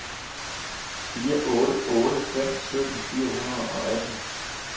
fire otte otte fem sytten fire hundrede og atten